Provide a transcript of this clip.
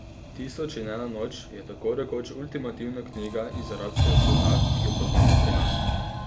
Tisoč in ena noč je tako rekoč ultimativna knjga iz arabskega sveta, ki jo poznamo pri nas.